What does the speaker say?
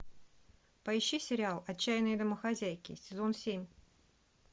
поищи сериал отчаянные домохозяйки сезон семь